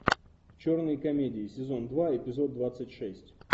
черные комедии сезон два эпизод двадцать шесть